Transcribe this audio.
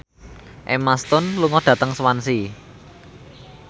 Emma Stone lunga dhateng Swansea